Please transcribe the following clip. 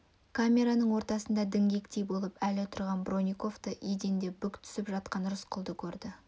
камераның ортасында діңгектей болып әлі тұрған бронниковты еденде бүк түсіп жатқан рысқұлды көрді